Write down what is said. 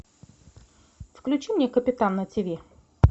включи мне капитан на тиви